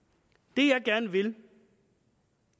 det jeg gerne vil